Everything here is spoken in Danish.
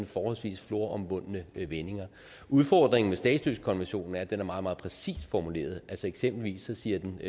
forholdsvis floromvundne vendinger udfordringen med statsløsekonventionen er at den er meget meget præcist formuleret altså eksempelvis siger den